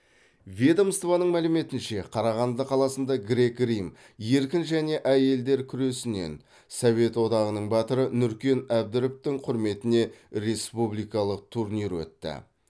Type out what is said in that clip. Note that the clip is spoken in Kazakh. ведомствоның мәліметінше қарағанды қаласында грек рим еркін және әйелдер күресінен совет одағының батыры нүркен әбдіровтың құрметіне республикалық турнир өтті